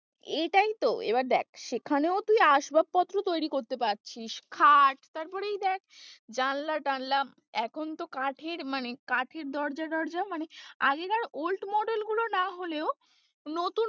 এটাই তো এবার দেখ সেখানেও তুই আসবাবপত্র তৈরী করতে পারছিস খাট তারপরেই দেখ জানলা-টানলা এখন তো কাঠের মানে কাঠের দরজা-টরজা মানে আগেকার old model গুলো না হলেও নতুন,